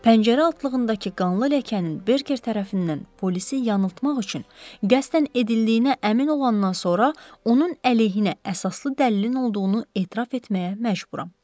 Pəncərə altlığındakı qanlı ləkənin Berker tərəfindən polisi yanıltmaq üçün qəsdən edildiyinə əmin olandan sonra onun əleyhinə əsaslı dəlilin olduğunu etiraf etməyə məcburam.